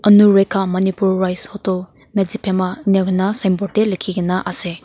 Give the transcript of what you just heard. Anurekha manipur rice hotel medziphema inika koi na sign board te likhi kena ase.